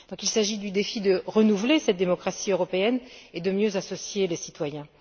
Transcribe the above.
Donc, il s'agit du défi de renouveler cette démocratie et de mieux associer les citoyens.